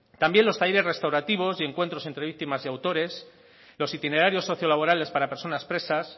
también loa talleres restaurativos y encuentros entre víctimas y autores los itinerarios socio laborales para personas presas